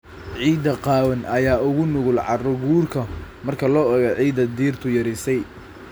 Ciidda qaawan ayaa uga nugul carro-guurka marka loo eego ciidda dhirtu qarisay.